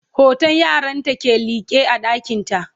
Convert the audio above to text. hoton yaranta ke liƙe a ɗakinta